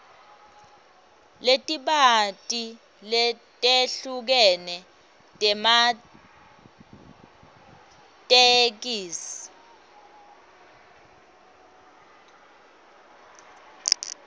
letibanti letehlukene tematheksthi